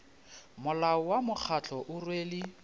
molao wa mokgatlo o rwele